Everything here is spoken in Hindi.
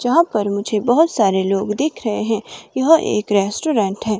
यहां पर मुझे बहुत सारे लोग दिख रहे हैं यह एक रेस्टोरेंट है।